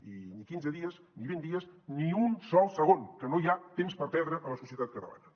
i ni quinze dies ni vint dies ni un sol segon que no hi ha temps per perdre a la societat catalana